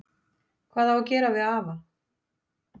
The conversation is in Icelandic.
Hvað á að gera við afa?